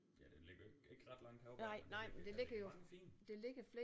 Ja den ligger jo ikke ikke ret langt heroppe vel men der ligger da mange fine